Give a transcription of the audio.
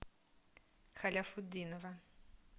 халяфутдинова